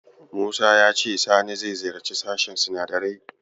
Musa ya ce Sani zai ziyarci sashen sinadarai.